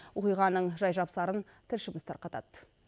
оқиғаның жай жапсарын тілшіміз тарқатады